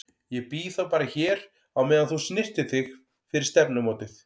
Ég bíð þá bara hér á meðan þú snyrtir þig fyrir stefnumótið.